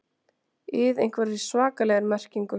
ið einhverri svakalegri merkingu.